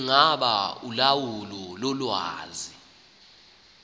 ingaba ulawulo lolwazi